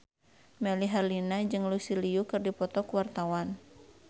Melly Herlina jeung Lucy Liu keur dipoto ku wartawan